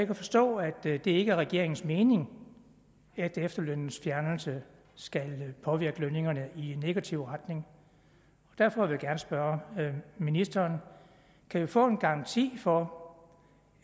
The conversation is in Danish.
kan forstå at det ikke er regeringens mening at efterlønnens fjernelse skal påvirke lønningerne i negativ retning derfor vil jeg gerne spørge ministeren kan vi få en garanti for